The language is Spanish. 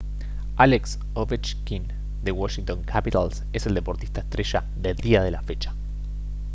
alex ovechkin de washington capitals es el deportista estrella del día de la fecha